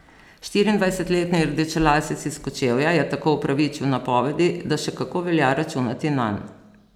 Štiriindvajsetletni rdečelasec iz Kočevja je tako upravičil napovedi, da še kako velja računati nanj.